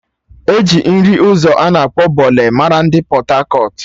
E ji nri ụzọ ana akpọ Bole mara ndị Pọt-akọt